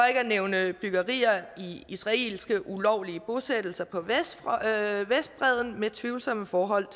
at nævne byggerier i israelske ulovlige bosættelser på vestbredden med tvivlsomme forhold